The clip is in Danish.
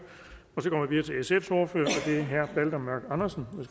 og det er herre balder mørk andersen nej